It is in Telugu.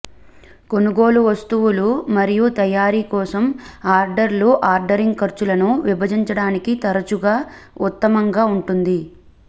కొనుగోలు వస్తువులు మరియు తయారీ కోసం ఆర్డర్లు ఆర్డరింగ్ ఖర్చులను విభజించడానికి తరచుగా ఉత్తమంగా ఉంటుంది